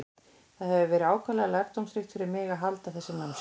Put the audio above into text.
Það hefur verið ákaflega lærdómsríkt fyrir mig að halda þessi námskeið.